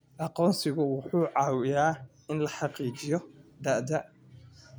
Aqoonsigu wuxuu caawiyaa in la xaqiijiyo da'da.